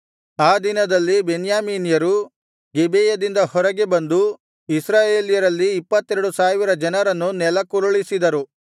ಆ ದಿನದಲ್ಲಿ ಬೆನ್ಯಾಮೀನ್ಯರು ಗಿಬೆಯದಿಂದ ಹೊರಗೆ ಬಂದು ಇಸ್ರಾಯೇಲ್ಯರಲ್ಲಿ ಇಪ್ಪತ್ತೆರಡು ಸಾವಿರ ಜನರನ್ನು ನೆಲಕ್ಕುರುಳಿಸಿದರು